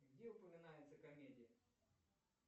где упоминается комедия